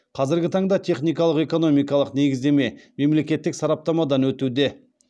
қазіргі таңда техникалық экономикалық негіздеме мемлекеттік сараптамадан өтуде